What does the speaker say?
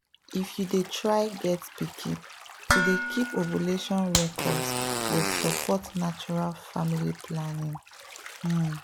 if you dey try get pikin to dey keep ovulation records go support natural family planning pause.